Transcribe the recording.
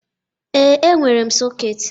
Ee, e nwere m sọketị.